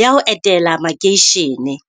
ya ho etela makeisheneng.